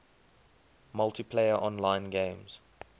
multiplayer online games